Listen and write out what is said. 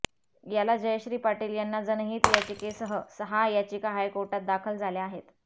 याला जयश्री पाटील यांच्या जनहित याचिकेसह सहा याचिका हायकोर्टात दाखल झाल्या आहेत